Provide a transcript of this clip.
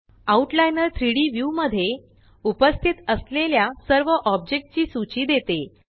outliner 3Dव्यू मध्ये उपस्थित असलेल्या सर्व ऑब्जेक्ट ची सूची देते